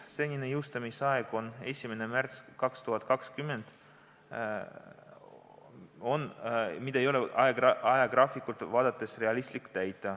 Senine jõustumisaeg oli 1. märts 2020, mis ei ole ajagraafikut vaadates realistlik.